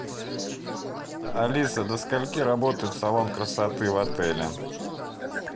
алиса до скольки работает салон красоты в отеле